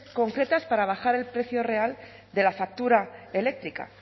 concretas para bajar el precio real de la factura eléctrica